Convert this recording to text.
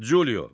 Culio.